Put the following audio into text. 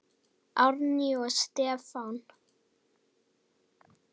Árný og Stefán.